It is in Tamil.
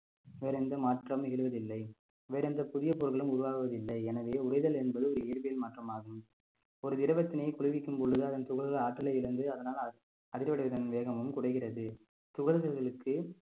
வேறு எந்த மாற்றமும் எழுவதில்லை வேறு எந்த புதிய பொருளும் உருவாவதில்லை எனவே உறைதல் என்பது ஒரு இயல்பில் மாற்றமாகும் ஒரு திரவத்தினை குளிர்விக்கும் பொழுது அதன் துகல்கல் ஆற்றலை இழந்து அதனால் அதிர்வடைவதன் வேகமும் குறைகிறது துகள்களுக்கு